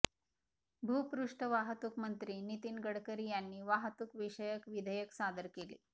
भूपृष्ठ वाहतूक मंत्री नितिन गडकरी यांनी वाहतूक विषयक विधेयक सादर केले